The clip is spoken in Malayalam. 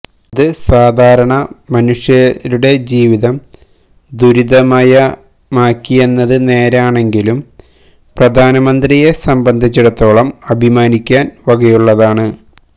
അത് സാധാരണ മനുഷ്യരുടെ ജീവിതം ദുരിതമയമാക്കിയെന്നത് നേരാണെങ്കിലും പ്രധാനമന്ത്രിയെസ്സംബന്ധിച്ചിടത്തോളം അഭിമാനിക്കാന് വകയുള്ളതാണ്